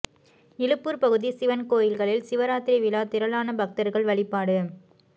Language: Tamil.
இலுப்பூர் பகுதி சிவன் கோயில்களில் சிவராத்திரி விழா திரளான பக்தர்கள் வழிபாடு